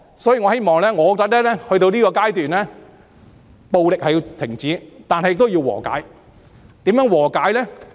所以，到了這個階段，我覺得暴力必須停止，但亦需要和解，如何和解呢？